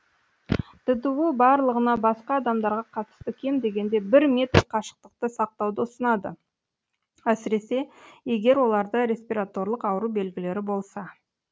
ддұ барлығына басқа адамдарға қатысты кем дегенде бір метр қашықтықты сақтауды ұсынады әсіресе егер оларда респираторлық ауру белгілері болса